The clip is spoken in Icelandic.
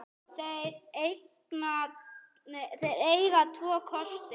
Þeir eiga tvo kosti.